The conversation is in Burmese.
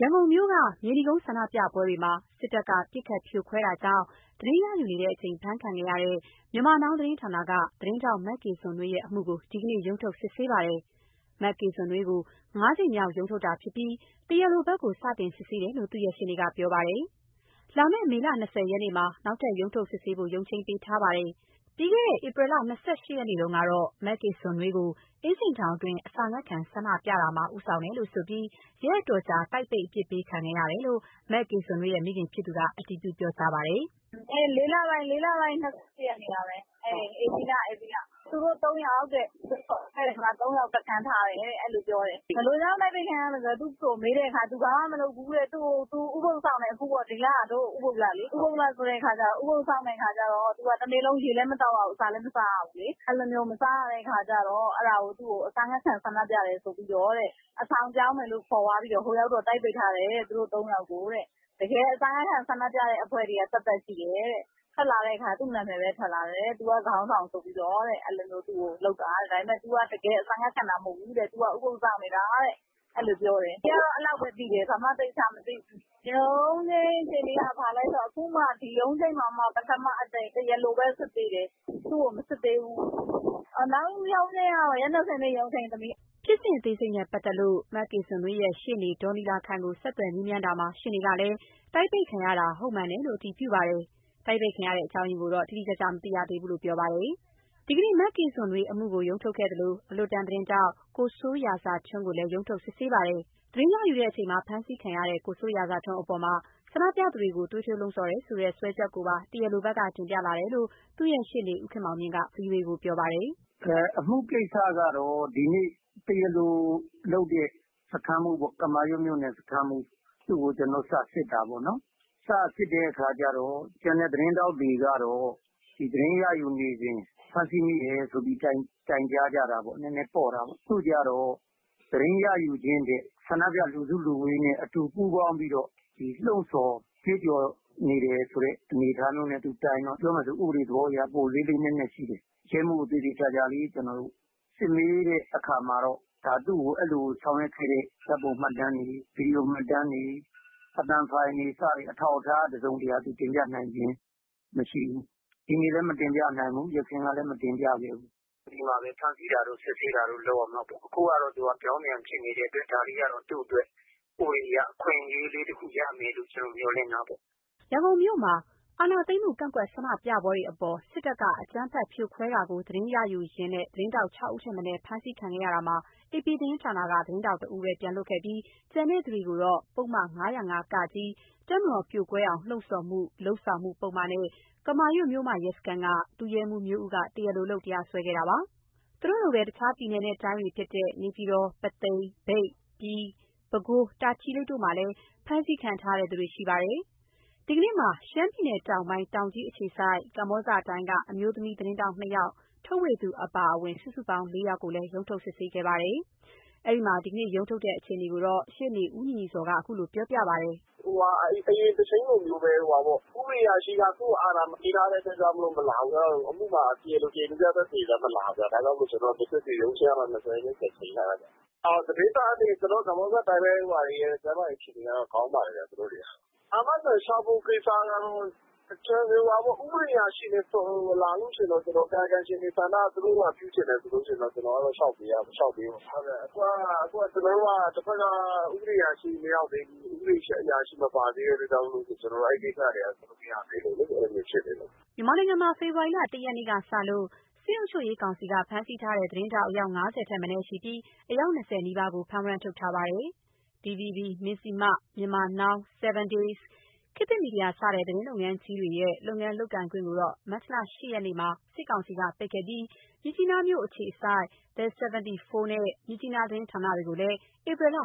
ရန်ကုန်မြို့ မြေနီကုန်းမြို့နယ် ဆန္ဒပြပွဲတွေမှာ စစ်တပ်က ပစ်ခတ်ဖြိုခွဲတာကို သတင်းရယူနေစဉ် အဖမ်းခံခဲ့ရတဲ့ Myanmar Now သတင်းဌာနက သတင်းထောက် မကေနွန်နွေးရဲ့ အမှုကို ဒီနေ့ ရုံးထုတ်စစ်ဆေးပါတယ်။ မကေဇွန်နွေးကို ၅ ကြိမ်မြောက်ရုံးထုတ်တာဖြစ်ပြီး တရားလိုဘက်ကို စတင်စစ်ဆေးတယ်လို့ သူ့ရဲ့ရှေ့နေကပြောပါတယ်။ လာမယ့် မေ ၂၀ ရက်နေ့မှာ နောက်ထပ် ရုံးထုတ်စစ်ဆေးဖို့ ရုံးချိန်းပေးထားပါတယ်။ ပြီးခဲ့တဲ့ ၂၄ ရက်နေ့တုန်းကတော့ မကေဇွန်နွေးကို အင်းစိန်ထောင်တွင်း အစာငတ်ခံဆန္ဒပြတာမှာ ဦးဆောင်တယ်လို့ဆိုပြီး ရက်အတော်ကြာ တိုက်ပိတ် အပြစ်ပေးခံခဲ့ရတယ်လို့ မကေဇွန်နွေးမိခင်ဖြစ်သူက အတည်ပြုပြောကြားပါတယ်။ "၄ လပိုင်း ၂၈ ရက်နေ့က ဧပြီလ။ သူတို့ ၃ ယောက်တဲ့ အဲဒီမှာ ၃ ယောက် တခန်းထားတယ်တဲ့.. အဲဒီလိုပြောတယ်။ ဘယ်လိုကြောင့် တိုက်ပိတ်ခံရတာလဲဆိုတော့ သူမေးတော့ သူဘာမှမလုပ်ဘူးတဲ့... သူဥပုဒ်စောင့်တယ်။ ဒီလက ဥပုဒ်လလေ။ အဲဒီတော့ ရေလည်း မသောက်ရဘူး၊ အစာလည်း မစားရဘူးလေ။ မစားရတာကို အဲဒါကို အစာငတ်ခံဆန္ဒပြတယ်ဆိုပြီးတော့ အဆောင်ပြောင်းမယ်ဆိုပြီးခေါ်သွားပြီးတော့... ဟိုကျတော့ တိုက်ပိတ်ထားတယ်တဲ့ သူတို့ ၃ ယောက်ကို။ တကယ်အစာငတ်ခံဆန္ဒပြတဲ့ အဖွဲ့က သတ်သတ်ရှိတယ်။ ထွက်လာတော့ သူ့နာမည်ပဲထွက်လာတယ်တဲ့။ သူက ခေါင်းဆောင်ဆိုပြီး ထွက်တယ်တဲ့။ တကယ်က သူက အစာငတ်ခံတာ မဟုတ်ဘူး။ သူက ဥပုဒ်စောင့်နေတာတဲ့။ အဲဒီလိုပြောတယ်။ အန်တီက အဲဒီလာက်ပဲသိတယ်။ ဘာမှသေချာမသိဘူး။ ရုံးချိန်းက ခုမှ ပထမအကြိမ်တရားလိုပဲ စစ်သေးတယ်... သူ့ကိုမစစ်သေးဘူး။ နောက်ရုံးချိန်းကတော့ ရက် ၂၀ နေ့ ရုံးချိန်း။" ဖြစ်စဉ်အသေးစိတ်နဲ့ ပတ်သတ်လို့ မကေဇွန်နွေးရဲ့ ရှေ့နေဒေါ်နီလာခိုင်ကို ဆက်သွယ်မေးမြန်းတာမှာ ရှေ့နေကလည်း တိုက်ပိတ်ခံရတာ ဟုတ်မှန်တယ်လို့ အတည်ပြုပါတယ်။ တိုက်ပိတ်ခံရတဲ့ အကြောင်းရင်းကိုတော့ တိတိကျကျ မသိသေးရသေးဘူးလို့ပြောပါတယ်။ ဒီနေ့ မကေဇွန်နွေးအမှုကို ရုံးထုတ်ခဲ့သလို အလွတ်တန်းသတင်းထောက် ကိုစိုးရာဇာထွန်းကိုလည်း ရုံးထုတ်စစ်ဆေးပါတယ်။ သတင်းရယူချိန်မှာ ဖမ်းဆီးခံရတဲ့ ကိုစိုးရာဇာထွန်းအပေါ် ဆန္ဒပြသူတွေကို သွေးထိုးစည်းရုံးတယ်ဆိုတဲ့ စွဲချက်ကိုပါ တရားလိုဘက်က တင်ပြလာတယ်လို့ သူ့ရဲ့ ရှေ့နေ ဦးခင်မောင်မြင့်က ဗွီအိုအေကိုပြောပါတယ်။ "အမှုကိစ္စကတော့ ဒီနေ့ တရားလိုလုပ်တဲ့ ကမာရွတ်မြို့နယ်စခန်းမှူး သူ့ကို ကျနော်တို့ စ စစ်တယ်။ စ စစ်တဲ့အခါကျတော့ ကျန်တဲ့သတင်းထောက်တွေနဲ့ မတူဘဲနဲ့ ကျန်တဲ့သတင်းထောက်တွေကတော့ သတင်းရယူနေစဉ် ဖမ်းဆီးမိတယ်လို့ တိုင်တယ်.. နည်းနည်းပေါ့တာပေါ့။ သူကျတော့ သတင်းရယူခြင်းထက် ရှိနေတဲ့ ဆန္ဒပြလူစုလူဝေးနဲ့အတူ ပူးပေါင်းပြီးတော့ လှုံ့ဆော်ကြွေးကြော်နေတဲ့ အနေအထားမျိုးနဲ့ တိုင်တော့ ဥပဒေသဘောအရ ပိုလေးလေးနက်နက်ရှိတယ်။ ရဲမှူးကို သေသေချာလေးစစ်မေးတဲ့အခါမှာတော့ သူ့ကို အဲဒီလိုလုပ်ခဲ့တဲ့ ဓါတ်ပုံမှတ်တမ်းတွေ၊ ဗီဒီယိုမှတ်တမ်းတွေ၊ အသံဖိုင်တွေ စတဲ့ အထောက်အထား တစုံတရာ သူ တင်ပြနိုင်ခြင်း မရှိဘူး။ ဒီနေ့လည်း မတင်ပြနိုင်ဘူး။ အရင်ကလည်း လုံးဝမတင်ပြခဲ့ဘူး။ ပြီးမှပဲ ဖမ်းဆီးတာတို့ စစ်ဆေးတာတို့ လုပ်ရမှာပေါ့။ အခုကတော့ ပြောင်းပြန်ဖြစ်နေတဲ့အတွက် ဒါလေးကတော့ သူ့အတွက် ဥပဒေအရ အခွင့်အရေးလေး တခုရမယ်လို့ ကျနော် မျှော်လင့်ရတာပေါ့။" ရန်ကုန်က အာဏာသိမ်းမှု ကန့်ကွက်ဆန္ဒပြပွဲတွေအပေါ် စစ်တပ်က အကြမ်းဖက်ဖြိုခွဲတာကို သတင်းယူရင်း သတင်းထောက် ၆ ဦးထက်မနည်း ဖမ်းခံရတာမှာ AP သတင်းဌာနက သတင်းထောက်တဦးကိုသာ ပြန်လွှတ်ခဲ့ပြီး ကျန်သူတွေကိုတော့ ပုဒ်မ ၅၀၅-က၊ တပ်မတော်ပြိုကွဲအောင်လှုံ့ဆော်မှု၊ လုပ်ဆောင်မှု ပုဒ်မနဲ့ ကမာရွတ် မြို့မရဲစခန်းက ဒုရဲမှူးမျိုးဦးက တရားလိုလုပ် တရားစွဲခဲ့တာပါ။ သူတို့လိုပဲ တခြားပြည်နယ်တိုင်းတွေဖြစ်တဲ့ နေပြည်တော်၊ ပုသိမ်၊ မြိတ်၊ ပြည်၊ ပဲခူး၊ တာချီလိတ် တို့မှာလည်း ဖမ်းဆီးခံထားရသူတွေ ရှိပါတယ်။ ဒီကနေ့မှာ ရှမ်းပြည်နယ်တောင်ပိုင်း တောင်ကြီးအခြေစိုက် ကမ္ဘောဇတိုင်းက အမျိုးသမီးသတင်းထောက် ၂ ယောက်၊ ထုတ်ဝေသူအပါအဝင် စုစုပေါင်း ၄ ယောက်ကိုလည်း ရုံးထုတ်စစ်ဆေးခဲ့ပါတယ်။ အဲဒီမှာ ဒီနေ့ရုံးထုတ်တဲ့ အခြေအနေကို ရှေ့နေ ဦးညီညီဇော်က ခုလို ပြောပြပါတယ်။ "အရင်တချိန်းလိုမျိုးပဲပေါ့.. ဥပဒေအရာရှိက သူ့ကို အာဏာမပေးထားတဲ့အခါကျတော့ မလာဘူးပေါ့။ အမှုမှာလည်း တရားလိုရော၊ တရားလိုပြသက်သေရော မလာဘူးပေါ့။ ဒါကြောင့်မစစ်ဖြစ်ဘူး။ ရုံးချိန်းကတော့ ၂၀ ရက်နေ့ ပြန်ချိန်းထားတာပေါ့။ ကမ္ဘောဇတိုင်း သတင်းထောက်တွေရဲ့ ကျန်းမာရေးအခြေအနေကတော့ ကောင်းပါတယ်။ အာမခံလျှောက်ဖို့ ကိစ္စကတော့ ဥပဒေအရာရှိ မလာလို့ရှိရင်တော့ ကာယကံရှင်တွေ ဆန္ဒအရ လျှောက်ပေးရမှာပေါ့။ ခုကတဘက်က ဥပဒေအရာရှိ မရောက်သေးဘူး၊ မပါသေးတဲ့အတွက် အဲဒီကိစ္စက လုပ်လို့ မရသေးလို့လေ... အဲဒီလို ဖြစ်နေတယ်။" မြန်မာနိုင်ငံမှာ ဖေဖော်ဝါရီ ၁ ရက်နေ့ကစလို့ စစ်အုပ်ချုပ်ရေးကောင်စီက ဖမ်းဆီးထားတဲ့ သတင်းထောက် အယောက် ၅၀ ထက်မနည်းရှိပြီး အယောက် ၂၀ နီးပါးကို ဖမ်းဝရမ်းထုတ်ထားပါတယ်။ DVB၊ မဇ္ဈိမ၊ Myanmar Now၊ 7 Days၊ ခေတ်သစ် စတဲ့ သတင်းလုပ်ငန်းကြီးတွေရဲ့ လုပ်ငန်းလုပ်ခွင့်ကို မတ်လ ၈ ရက်နေ့မှာ စစ်ကောင်စီကပိတ်ခဲ့ပြီး မြစ်ကြီးနားမြို့အခြေစိုက် The 74 နဲ့ မြစ်ကြီးနားသတင်းဌာနတွေကို ဧပြီလ